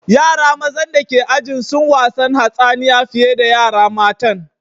Yara mazan dake ajin sun wasan hatsaniya fiye da yara matan.